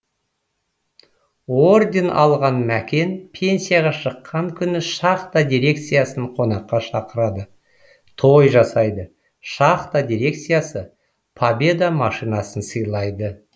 орден алған мәкен пенсияға шыққан күні шахта дирекциясын қонаққа шақырады той жасайды шахта дирекциясы победа машинасын сыйлайды